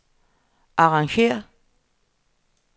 arrangér